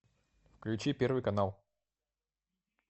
включи первый канал